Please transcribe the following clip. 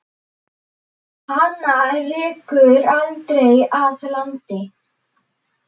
Hana rekur aldrei að landi.